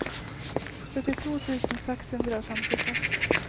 syttito tusen seks hundre og femtiseks